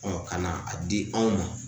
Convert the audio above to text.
ka na a di anw ma